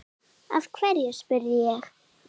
Af hverju? spurði ég.